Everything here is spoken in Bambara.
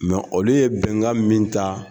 Mɛ olu ye bɛnkan min ta